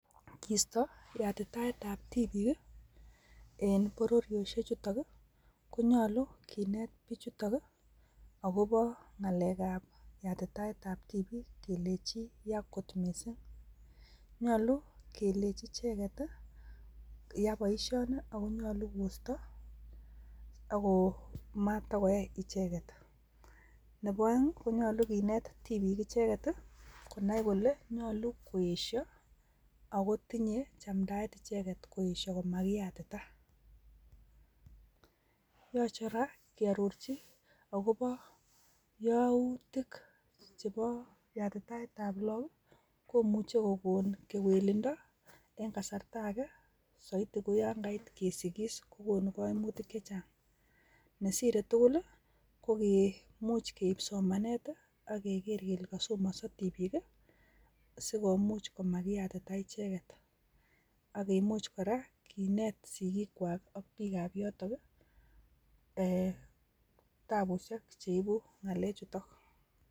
Kisto yatitaet tab tibik en bororoshek chutok konyolu kinet bijutok akopo ngalek ab yatitaet ab tibik kelenji yaa kot missing nyolu kelenji ichet tii yaa boishoni ako nyolu koisto ako matakoyai ichet. Nebo oeng konyolu kinet tibik icheket konai kole nyolu koyesho ako tinye chamndaet icheket koyesho komakiyatita, yoche koraa kiororchi akobo youtik chebo yatitaet ab look komuch kokon kewelindo en kasart agee soiti ko yon kait kokonu koimutik che chang, nesire tuukul lii ko gee much keib somanet tii ak keker kele kosomoso tibik kii sikomuch komakiyatita icheket ak kimuch koraa kinet sikik kwak ak bikap yoton kii ee tabushek cheibu ngalek chutok.